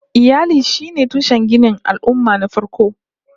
Iyali sune tushen ginin al'ummah na farko